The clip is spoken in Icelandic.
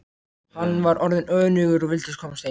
Hann var orðinn önugur og vildi komast heim.